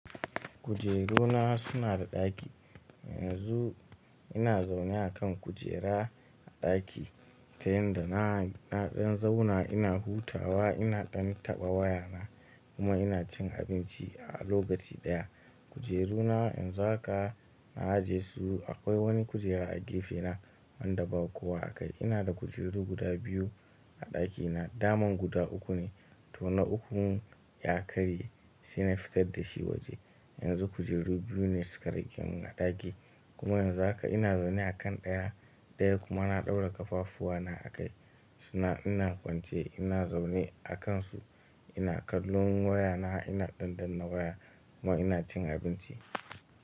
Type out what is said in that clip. Kujeruna suna da ɗaki. Yanzu ina zaune a kan kujera a ɗaki, ta yanda na, na ɗan zauna ina hutawa ina ɗan taɓa waya na kuma ina cin abinci a lokaci ɗaya. Kujeru na yanzu haka na ajeyesu akwai wani kujera a gefe na wanda ba kowa a kai. Ina da kujeru guda biyu a ɗaki na, daman guda uku ne to na uku ya karye sai na fitar da shi waje. Yanzu kujeru biyu ne suka rigemin a ɗaki kuma yanzu haka ina zaune a kan ɗaya, ɗaya kuma na ɗaura kafafuwa na a kai suna ina kwance ina zaune a kansu ina kallon waya na ina ɗanɗana waya kuma ina cin abinci.